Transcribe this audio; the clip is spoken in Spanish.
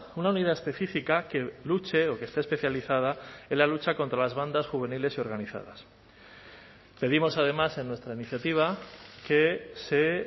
una unidad específica que luche o que esté especializada en la lucha contra las bandas juveniles y organizadas pedimos además en nuestra iniciativa que se